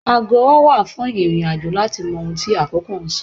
Ago ọwọ́ wà fún ìrìn-àjò láti mọ ohun tí àkókò ń sọ.